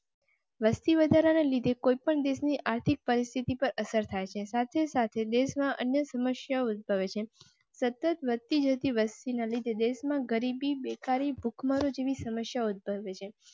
વસ્તી વધારા ને લીધે કોઈ પણ દેશ ની આર્થિક પરિસ્થિતિ પર અસર થાય છે. સાથે સાથે દેશ ના અન્ય સમસ્યાઓ ભવિષ્ય સતત વધ તી જતી વસ્તી ને લીધે દેશ માં ગરીબી બેકારી ભૂખમરો જેવી સમસ્યાઓ ઉદભવે છે.